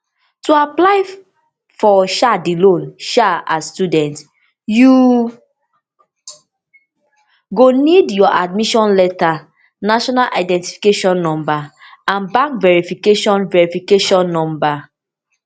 to apply for um di loan um as student you go need your admission letter national identification number and bank verification verification number